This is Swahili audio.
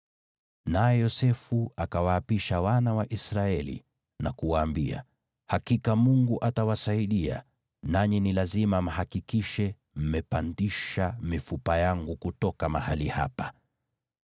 Naye Yosefu akawaapisha wana wa Israeli na kuwaambia, “Hakika Mungu atawasaidia, nanyi ni lazima mhakikishe mmepandisha mifupa yangu kutoka mahali hapa.”